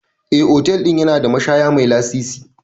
Eh, otal ɗin yana da mashaya mai lasisi.